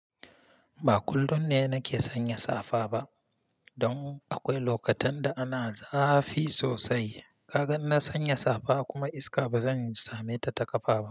Ba kullum ne nake sanya safa ba, don akwai lokutan da ana zafi sosai. Kagan in na sanya safa kuma iska ba zan same ta ta kafa ba.